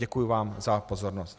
Děkuji vám za pozornost.